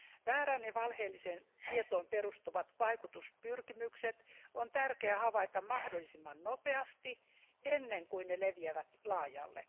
Väärään ja valheelliseen tietoon perustuvat vaikutuspyrkimykset on tärkeää havaita mahdollisimman nopeasti ennen kuin ne leviävät laajalle.